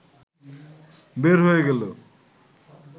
বের হয়ে গেল